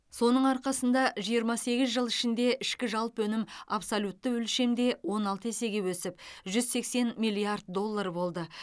соның арқасында жиырма сегіз жыл ішінде ішкі жалпы өнім абсолютті өлшемде он алты есеге өсіп жүз сексен миллиард доллар болды